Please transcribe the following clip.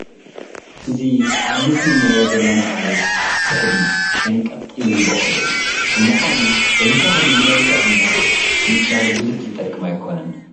እዚ ኣብ ምስሊ ንሪኦ ዘለና ዓሌት ፅሕዲ ሸንቀጥ ኢሉ ዝበቑል እዩ፡፡ ብምኳኑ እዚ ተኽሊ ንመልክዕ እምበር ንፅላል ብዙሕ ዝጠቅም ኣይኮነን፡፡